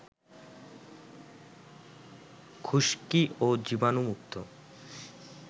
খুশকি ও জীবাণুমুক্ত